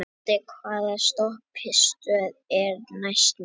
Laddi, hvaða stoppistöð er næst mér?